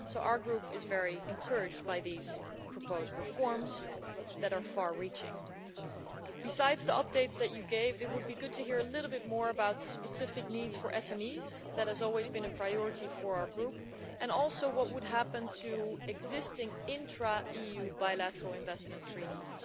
So our Group is very encouraged by these proposed reforms, which are far reaching. Besides the updates that you gave, it would be good to hear a little more about the specific needs of SMEs which have always been a priority for our Group and also what would happen to existing intra EU bilateral investment treaties